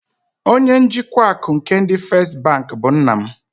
Onye njikwa akụ nke ndị First bank bụ nna m.